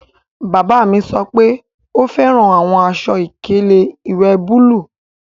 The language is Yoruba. Bàbá mi sọ pé ó fẹ́ran awọn àṣọ-ìkẹlẹ̀ iwẹ́ búlúù.